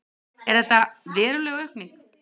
Er þetta veruleg aukning?